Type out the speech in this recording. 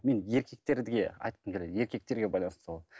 мен еркектерге айтқым келеді еркектерге байланысты сауал